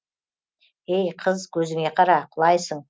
ей қыз көзіңе қара құлайсың